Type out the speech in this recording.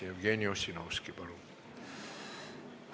Jevgeni Ossinovski, palun!